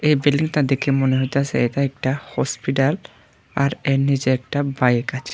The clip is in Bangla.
এই বিল্ডিংটা দেখে মনে হইতাছে এটা একটা হসপিটাল আর এর নীচে একটা বাইক আছ--